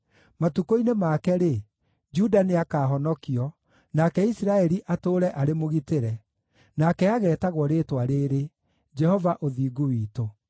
Matukũ-inĩ make-rĩ, Juda nĩakahonokio, nake Isiraeli atũũre arĩ mũgitĩre. Nake ageetagwo rĩĩtwa rĩrĩ: Jehova-Ũthingu-Witũ.”